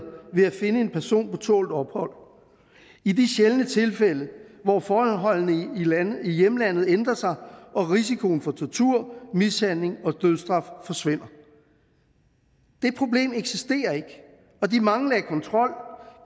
ved at finde en person på tålt ophold i de sjældne tilfælde hvor forholdene i hjemlandet ændrer sig og risikoen for tortur mishandling og dødsstraf forsvinder det problem eksisterer ikke og de mange lag kontrol